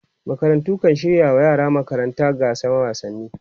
makarantu kan shirya wa yaran magaranta gasan wasanni